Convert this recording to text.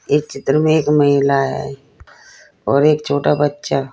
एक चित्र में एक महिला है और एक छोटा बच्चा।